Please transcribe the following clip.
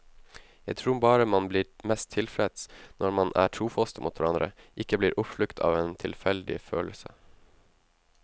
Jeg tror bare man blir mest tilfreds når man er trofaste mot hverandre, ikke blir oppslukt av en tilfeldig følelse.